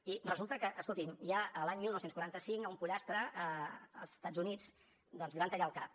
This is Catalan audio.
i resulta que escolti’m ja l’any dinou quaranta cinc a un pollastre als estats units doncs li van tallar el cap